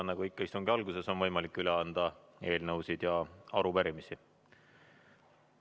Nagu ikka on istungi alguses võimalik üle anda eelnõusid ja arupärimisi.